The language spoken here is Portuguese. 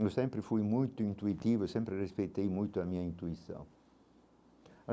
Eu sempre fui muito intuitivo, sempre respeitei muito a minha intuição.